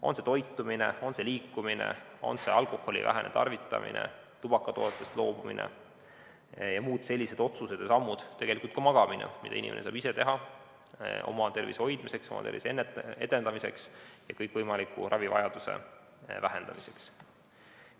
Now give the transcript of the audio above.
On see toitumine, liikumine, alkoholitarvitamise vähendamine, tubakatoodetest loobumine või on need muud sellised otsused ja sammud, tegelikult ka piisav magamine, mida inimene saab ise teha oma tervise hoidmiseks, oma tervise edendamiseks ja kõikvõimaliku ravivajaduse vähendamiseks.